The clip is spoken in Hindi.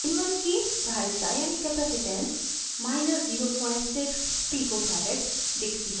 in1 की धारिता यानि capacitance 06 pf pico फैरेड दिखती है